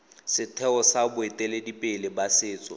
setheo sa boeteledipele ba setso